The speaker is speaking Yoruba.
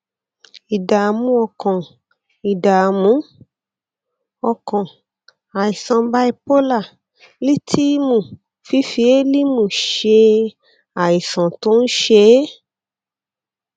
ìdààmú ọkàn ìdààmú ọkàn àìsàn bípólà lítíìmù fífi élímù ṣe é àìsàn tó ń ṣe é